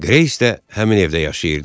Greys də həmin evdə yaşayırdı.